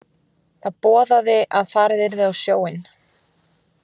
Það boðaði að farið yrði á sjóinn.